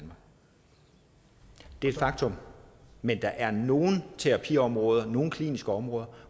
er et faktum men der er nogle terapiområder nogle kliniske områder